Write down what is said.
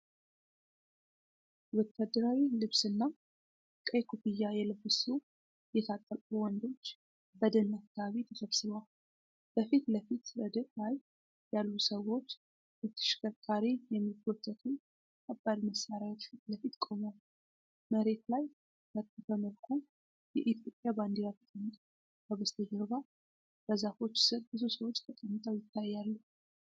ወታደራዊ ልብስና ቀይ ኮፍያ የለበሱ የታጠቁ ወንዶች በደን አካባቢ ተሰብስበዋል። በፊት ለፊት ረድፍ ላይ ያሉ ሰዎች በተሽከርካሪ የሚጎተቱ ከባድ መሳሪያዎች ፊት ለፊት ቆመዋል። መሬት ላይ በታጠፈ መልኩ የኢትዮጵያ ባንዲራ ተቀምጧል። ከበስተጀርባ በዛፎች ስር ብዙ ሰዎች ተቀምጠው ይታያሉ።